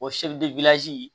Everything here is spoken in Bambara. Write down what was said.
O